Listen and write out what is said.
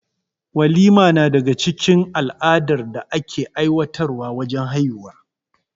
Walima na daga cikin al'adar da ake aiwatar wa wajen haihuwa